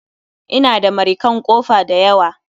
Ina da marikan kofa dayawa